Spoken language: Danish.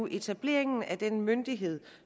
etableringen af den myndighed